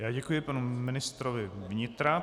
Já děkuji panu ministrovi vnitra.